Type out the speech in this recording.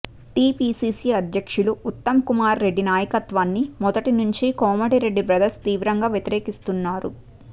TPCC అధ్యక్షులు ఉత్తమ్కుమార్రెడ్డి నాయకత్వాన్ని మొదటి నుంచి కోమటిరెడ్డి బ్రదర్స్ తీవ్రంగా వ్యతిరేకిస్తున్నారు